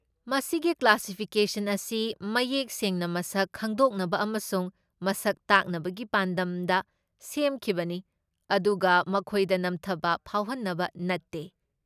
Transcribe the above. ꯃꯁꯤꯒꯤ ꯀ꯭ꯂꯥꯁꯤꯐꯤꯀꯦꯁꯟ ꯑꯁꯤ ꯃꯌꯦꯛ ꯁꯦꯡꯅ ꯃꯁꯛ ꯈꯪꯗꯣꯛꯅꯕ ꯑꯃꯁꯨꯡ ꯃꯁꯛ ꯇꯥꯛꯅꯕꯒꯤ ꯄꯥꯟꯗꯝꯗ ꯁꯦꯝꯈꯤꯕꯅꯤ ꯑꯗꯨꯒ ꯃꯈꯣꯏꯗ ꯅꯝꯊꯕ ꯐꯥꯎꯍꯟꯅꯕ ꯅꯠꯇꯦ꯫